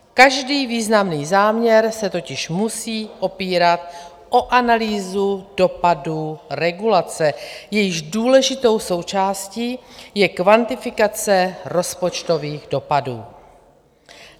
Každý významný záměr se totiž musí opírat o analýzu dopadu regulace, jejíž důležitou součástí je kvantifikace rozpočtových dopadů.